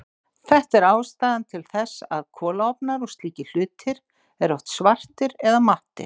Þetta er ástæðan til þess að kolaofnar og slíkir hlutir eru oft svartir eða mattir.